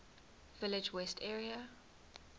village west area